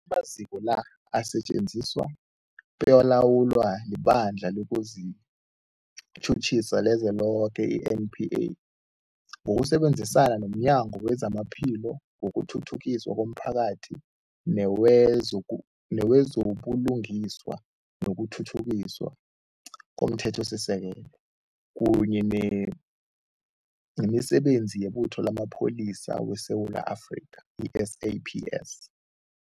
Amaziko la asetjenziswa bekalawulwa liBandla lezokuTjhutjhisa leliZweloke, i-NPA, ngokusebenzisana nomnyango wezamaPhilo, wokuthuthukiswa komphakathi newezo buLungiswa nokuThuthukiswa komThethosisekelo, kunye nemiSebenzi yeButho lamaPholisa weSewula Afrika, i-SAPS.